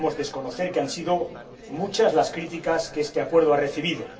No podemos desconocer que han sido muchas las críticas que este Acuerdo ha recibido.